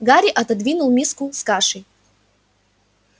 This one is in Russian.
гарри отодвинул миску с кашей